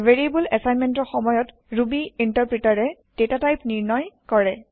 variable এচাইনমেন্টৰ সময়ত Ruby ইনটাৰপ্ৰিটাৰে ডাতাটাইপ নিৰ্ণয় কৰে